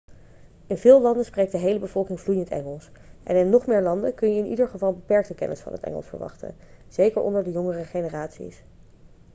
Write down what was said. in veel landen spreekt de hele bevolking vloeiend engels en in nog meer landen kun je in ieder geval een beperkte kennis van het engels verwachten zeker onder de jongere generaties